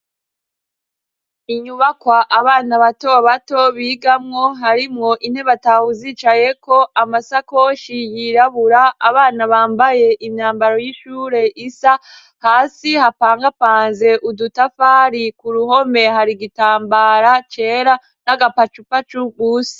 Inyubakwa abana bato bato bigamwo, harimo intebe atahu zicaye ko amasakoshi yirabura abana bambaye imyambaro y'ishure isa hasi hakaba hapanze udutafari ku ruhome hari igitambara cera n'agapachupacu gusa..